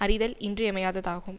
அறிதல் இன்றியமையாததாகும்